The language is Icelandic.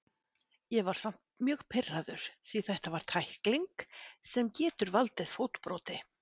Ég var samt mjög pirraður því þetta var tækling sem getur valdið fótbroti.